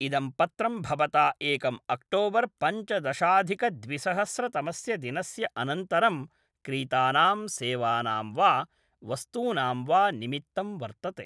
इदं पत्रं भवता एकम् अक्टोबर् पञ्चदशाधिकद्विसहस्रतमस्य दिनस्य अनन्तरं क्रीतानां सेवानां वा वस्तूनां वा निमित्तं वर्तते।